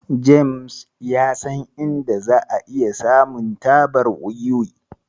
James ya san inda za'a iya samun tabar wiwi.